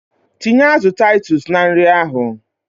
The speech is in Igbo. Tinye azụ Titus na nri ahụ!